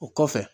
O kɔfɛ